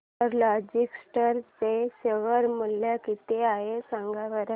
tiger Logistics चे share मूल्य किती आहे सांगा बरं